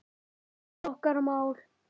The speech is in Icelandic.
Þetta er okkar mál.